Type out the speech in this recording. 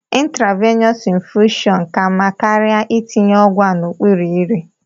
Intravenọs infushọn ka mma karịa itinye ọgwụ a n'okpuru ire.